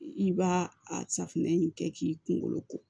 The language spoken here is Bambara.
I b'a a safunɛ in kɛ k'i kunkolo ko